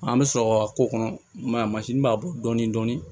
An bɛ sɔrɔ ka k'o kɔnɔ i m'a ye mansin b'a bɔ dɔɔnin dɔɔnin